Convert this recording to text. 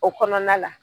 O kɔnɔna la